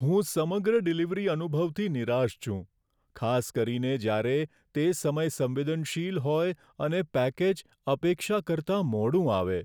હું સમગ્ર ડિલિવરી અનુભવથી નિરાશ છું, ખાસ કરીને જ્યારે તે સમય સંવેદનશીલ હોય અને પેકેજ અપેક્ષા કરતાં મોડું આવે.